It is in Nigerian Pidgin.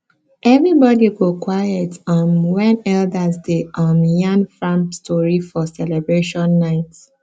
everybody go quiet um when elders dey um yarn farm story for celebration night